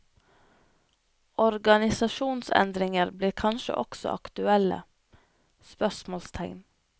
Organisasjonsendringer blir kanskje også aktuelle? spørsmålstegn